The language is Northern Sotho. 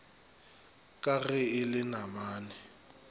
ka ge e le namane